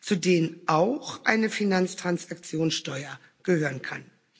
zu denen auch eine Finanztransaktionssteuer gehören kann.